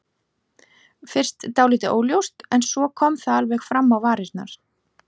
Fyrst dálítið óljóst en svo kom það alveg fram á varirnar.